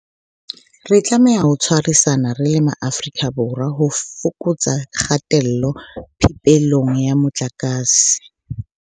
Re tlameha ho tshwarisana re le Maafrika Borwa ho fokotsa kgatello phepelong ya motlakase.